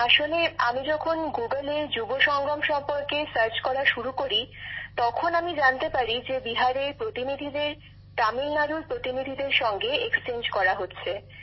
বিশাখাজীঃ আমি যখন গুগলে যুব সঙ্গম সম্পর্কে সার্চ করা শুরু করি তখন আমি জানতে পারি যে বিহারের প্রতিনিধিদের তামিলনাড়ুর প্রতিনিধির সঙ্গে বিনিময় করা হচ্ছে